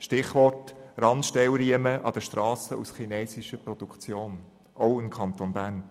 Stichwort: Randstellriemen an den Strassen aus chinesischer Produktion, auch im Kanton Bern.